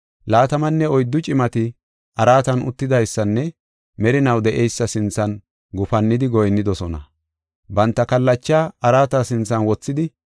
laatamanne oyddu cimati araatan uttidaysanne merinaw de7eysa sinthan gufannidi goyinnidosona; banta kallachaa araata sinthan wothidi,